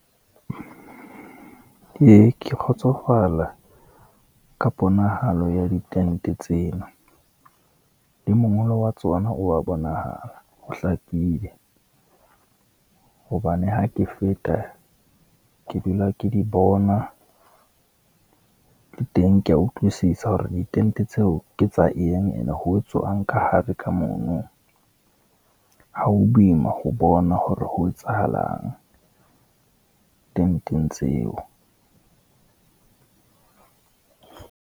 Ee, ke kgotsofala ka ponahalo ya ditente tseno le mongolo wa tsona wa bonahala o hlakile, hobane ha ke feta ke dula ke di bona le teng ke ya utlwisisa hore ditente tseo ke tsa eng, and ho etswang kahare ka mono. Ha ho boima ho bona hore ho etsahalang tenteng tseo.